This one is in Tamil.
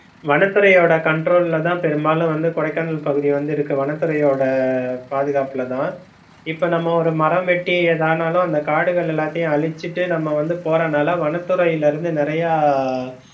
வனதுறையோட control ல தான் பெரும்பாலும் வந்து கொடைக்கானல் பகுதி வந்து இருக்கு, வனத்துறையோட பாதுகப்புலதான் இப்ப நம்ம ஒரு மரம் வெட்டி எதானாலும் வந்து காடுகள் எல்லாத்தையும் அழிச்சிட்டு நம்ம வந்து போரனால வனத்துறைலிருந்து நிறையா